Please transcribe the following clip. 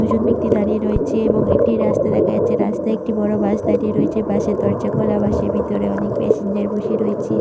দুজন ব্যক্তি দাঁড়িয়ে রয়েছে এবং একটি রাস্তা দেখা যাচ্ছে । রাস্তায় একটি বড় বাস দাঁড়িয়ে রয়েছে । বাসের দরজা খোলা। বাসের ভিতরে অনেক প্যাসেঞ্জার বসে রয়েছে।